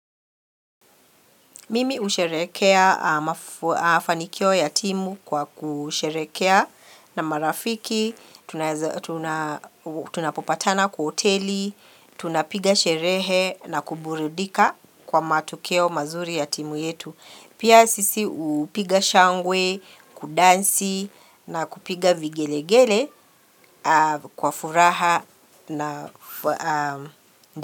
Mimi usherekea mafanikio yatimu kwa kusherekea na marafiki, tunapopatana kuoteli, tunapiga sherehe na kuburidika kwa matokeo mazuri yatimu yetu. Pia sisi upiga shangwe, kudansi na kupiga vigelegele kwa furaha na.